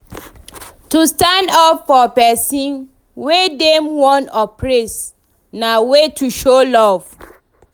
To involve for volunteering dey very easy now with plenty resources available.